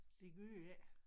Det gør det ikke